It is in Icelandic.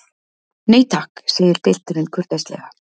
Nei takk, segir pilturinn kurteislega.